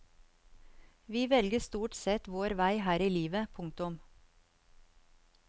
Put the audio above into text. Vi velger stort sett vår vei her i livet. punktum